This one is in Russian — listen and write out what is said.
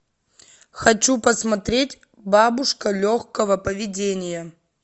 хочу посмотреть бабушка легкого поведения